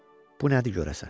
Bu nədir görəsən?